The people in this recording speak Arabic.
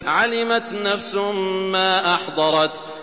عَلِمَتْ نَفْسٌ مَّا أَحْضَرَتْ